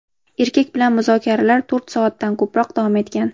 Erkak bilan muzokaralar to‘rt soatdan ko‘proq davom etgan.